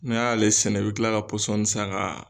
N'i y'ale sɛnɛ bɛ kila ka pɔsɔni san ka